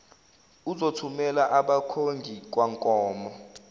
uzothumela abakhongi kwankomo